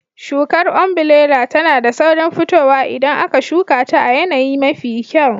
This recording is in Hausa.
Shukar ombirela tana da saurin fitowa idan aka shuka ta a yanayi mafi kyau.